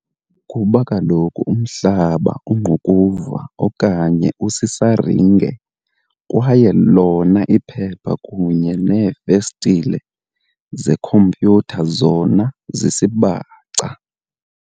Kuba kaloku umhlaba ungqukuva okanye usisazinge kwaye lona iphepha kunye neefestile zekhompyutha zona zisibaca.